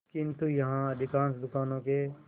किंतु यहाँ अधिकांश दुकानों के